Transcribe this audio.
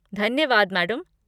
धन्यवाद मैडम।